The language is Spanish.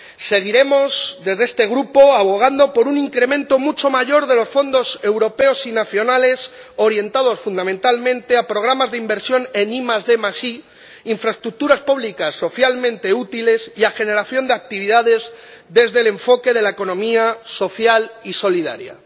Seguiremos, desde este Grupo, abogando por un incremento mucho mayor de los fondos europeos y nacionales orientados, fundamentalmente, a programas de inversión en IDi, a infraestructuras públicas socialmente útiles y a generación de actividades desde el enfoque de la economía social y solidaria.